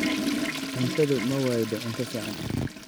Cuntadu ma waydo cunto fiican.